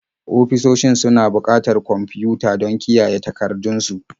Ofisoshi suna buƙatar kwamfiyuta don kiyaye takardun su.